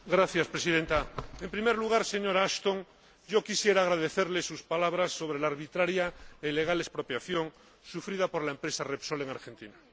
Señora Presidenta, en primer lugar, señora Ashton, yo quisiera agradecerle sus palabras sobre la arbitraria e ilegal expropiación sufrida por la empresa Repsol en Argentina.